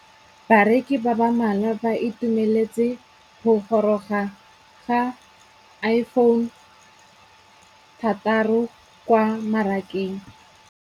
Bareki ba ba malwa ba ituemeletse go gôrôga ga Iphone6 kwa mmarakeng.